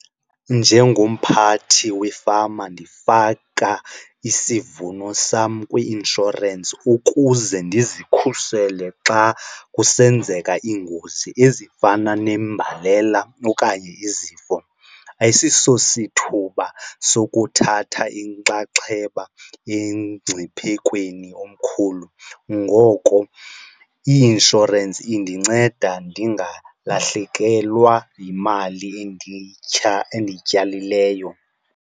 Njengomphathi wefama ndifaka isivuno sam kwi-inshorensi ukuze ndizikhusele xa kusenzeka iingozi ezifana nembalela okanye izifo. Ayisisosithuba sokuthatha inxaxheba emngciphekweni omkhulu ngoko i-inshorensi indinceda ndingalahlekelwa yimali endiyityalileyo.